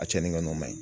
A cɛnni ka n'o ma ɲi